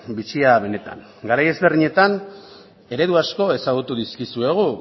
bitxia benetan garai ezberdinetan eredu asko ezagutu dizkizuegu